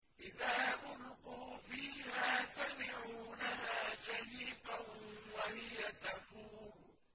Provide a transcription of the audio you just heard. إِذَا أُلْقُوا فِيهَا سَمِعُوا لَهَا شَهِيقًا وَهِيَ تَفُورُ